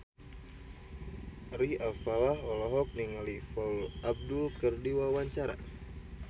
Ari Alfalah olohok ningali Paula Abdul keur diwawancara